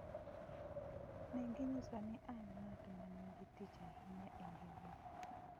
Ne ginyiso ni an ng’at ma nigi tich ahinya e ngimagi''.